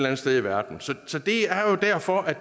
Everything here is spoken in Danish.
andet sted i verden det er derfor